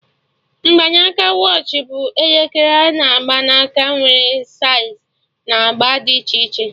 Mgbanaka watch bụ elekere a na-agba n'aka, nwere saiz na agba dị iche iche